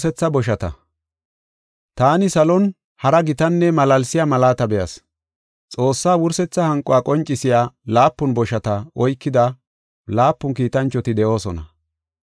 Taani salon hara gitanne malaalsiya malaata be7as. Xoossaa wursetha hanquwa qoncisiya laapun boshata oykida laapun kiitanchoti de7oosona.